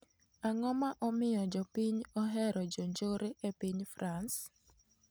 Ang'o ma omiyo jopiny ohero jo njore e piny frans?